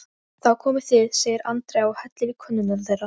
Þá komið þið, segir Andrea og hellir í könnurnar þeirra.